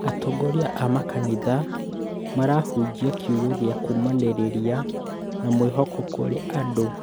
Atongoria a makanitha marahunjia kiugo gia kũũmanĩrĩria na mwĩhoko kũrĩ andũ